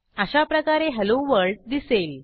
अशाप्रकारे hello world दिसेल